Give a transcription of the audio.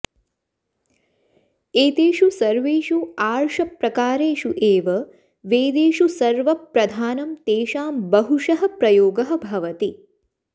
एतेषु सर्वेषु अार्षप्रकारेषु एव वेदेषु सर्वप्रधानं तेषां बहुशः प्रयोगः भवति